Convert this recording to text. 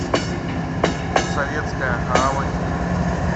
советская гавань